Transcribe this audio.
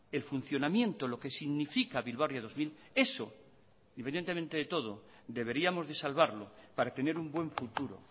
el funcionamiento lo que significa bilbao ría dos mil eso independientemente de todo deberíamos de salvarlo para tener un buen futuro